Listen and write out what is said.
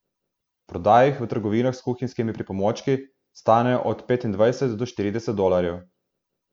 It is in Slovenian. Prodajajo jih v trgovinah s kuhinjskimi pripomočki, stanejo od petindvajset do štirideset dolarjev.